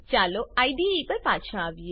ચાલો આઈડીઈ પર પાછા આવીએ